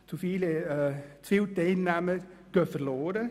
Zu viele Teilnehmer gehen verloren.